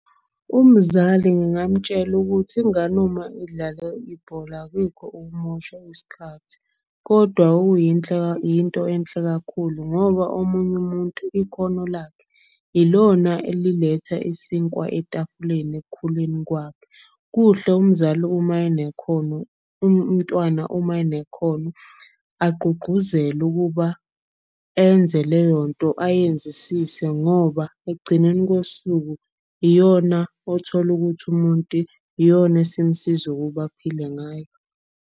Umzali ngingamtshela ukuthi ingane uma idlala ibhola akuyikho ukumosha isikhathi. Kodwa yinto enhle kakhulu ngoba omunye umuntu ikhono lakhe ilona eliletha isinkwa etafuleni, ekukhuleni kwakhe. Kuhle umntwana uma unekhono agqugquzelwe ukuba enze leyonto ayenzisise. Ngoba ekugcineni kosuku iyona othola ukuthi umuntu iyona esimsiza ukuba aphile ngayo.